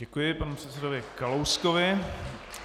Děkuji panu předsedovi Kalouskovi.